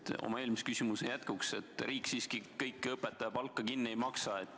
Märgin oma eelmise küsimuse jätkuks: riik siiski kogu õpetajate palka kinni ei maksa.